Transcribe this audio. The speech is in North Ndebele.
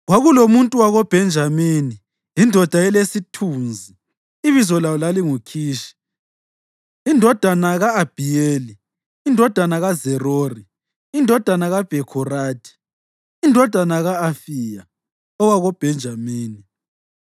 Kwakulomuntu wakoBhenjamini, indoda elesithunzi, ibizo layo lalinguKhishi indodana ka-Abhiyeli, indodana kaZerori, indodana kaBhekhorathi, indodana ka-Afiya owakoBhenjamini.